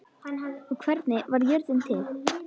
og Hvernig varð jörðin til?